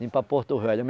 Vim para Porto Velho.